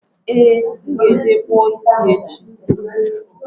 Ee, m ga-eje kpụọ ịsị echi